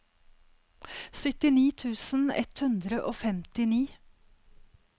syttini tusen ett hundre og femtini